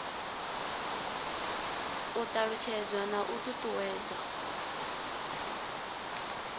u ṱalutshedzwa na u ṱuṱuwedzwa